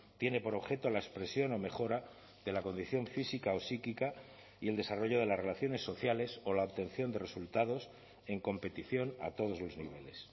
tiene por objeto la expresión o mejora de la condición física o psíquica y el desarrollo de las relaciones sociales o la obtención de resultados en competición a todos los niveles